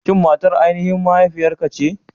Shin matar aininhin mahaifiyarka ce?